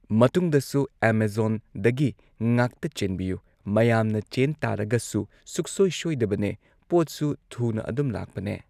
ꯃꯇꯨꯡꯗꯁꯨ ꯑꯥꯃꯥꯖꯣꯟꯗꯒꯤ ꯉꯥꯛꯇ ꯆꯦꯟꯕꯤꯌꯨ ꯃꯌꯥꯝꯅ ꯆꯦꯟ ꯇꯥꯔꯒꯁꯨ ꯁꯨꯛꯁꯣꯢ ꯁꯣꯏꯗꯕꯅꯦ ꯄꯣꯠꯁꯨ ꯊꯨꯅ ꯑꯗꯨꯝ ꯂꯥꯛꯄꯅꯦ